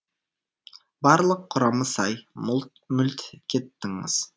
барлық құрамы сай мүлт кеттіңіз